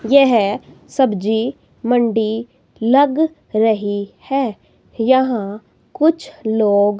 यह सब्जी मंडी लग रही है यहां कुछ लोग--